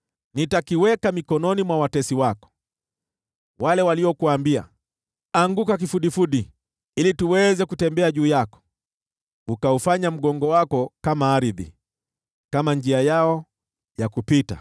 Nitakiweka mikononi mwa watesi wako, wale waliokuambia, ‘Anguka kifudifudi ili tuweze kutembea juu yako.’ Ukaufanya mgongo wako kama ardhi, kama njia yao ya kupita.”